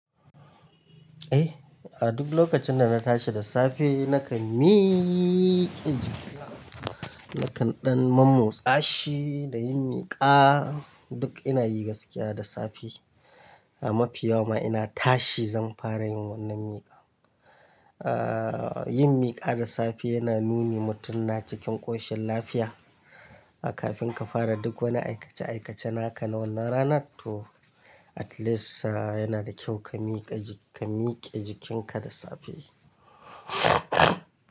Eh, a duk lokacin da na tashi da safe nakan mi-- nakan ɗan mamo tsashi da yin miƙa. Duk ina yi gaskiya da safe. A mafi yawa ma ina tashi zan fara yin wannan miƙa. Ah, yin miƙa da safe yana nuni mutum na cikin ƙoshin lafiya. Kafin ka fara duk wani aikace-aikace naka na wannan ranar to at least yana da kyau ka miƙa ji-- ka miƙe jikinka da safe.